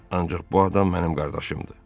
Ancaq bu adam mənim qardaşımdır.